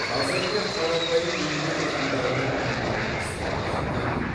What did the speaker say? қазір де қарапайым еңбек адамдарының үлгілі істері жетерлік